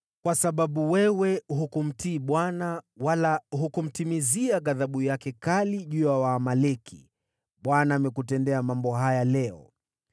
Kwa sababu wewe hukumtii Bwana , wala hukumtimizia ghadhabu yake kali juu ya Waamaleki, Bwana amekutendea mambo haya leo.